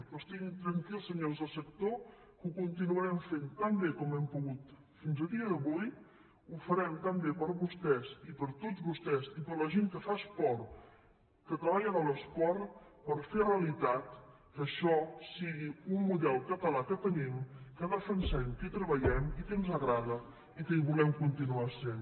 però estiguin tranquils senyors del sector que ho continuarem fent tan bé com hem pogut fins al dia d’avui ho farem tan bé per vostès i per tots vostès i per la gent que fa esport que treballa de l’esport per fer realitat que això sigui un model català que tenim que defensem que hi treballem i que ens agrada i que hi volem continuar sent